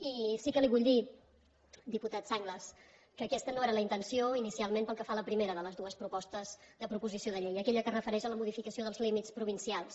i sí que li vull dir diputat sanglas que aquesta no era la intenció inicialment pel que fa a la primera de les dues propostes de proposició de llei aquella que es refereix a la modificació dels límits provincials